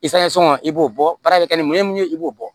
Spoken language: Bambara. i b'o bɔ baara bɛ kɛ ni mun ye mun ye i b'o bɔ